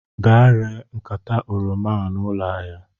Gaa ree nkata oroma a na ụlọ ahịa!